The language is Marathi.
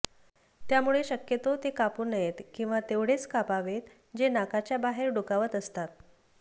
त्यामुळे शक्यतो ते कापू नयेत किंवा तेवढेच कापावेत जे नाकाच्या बाहेर डोकावत असतात